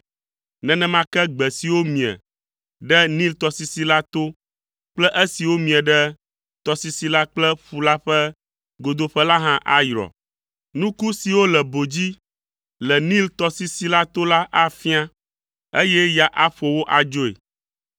Nenema ke gbe siwo mie ɖe Nil tɔsisi la to kple esiwo mie ɖe tɔsisi la kple ƒu la ƒe godoƒe la hã ayrɔ. Nuku siwo le bo dzi le Nil tɔsisi la to la afia, eye ya aƒo wo adzoe.